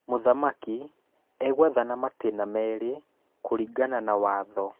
Mũthamaki egwathana matĩna merĩ kũringana na watho.